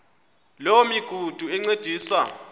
loo migudu encediswa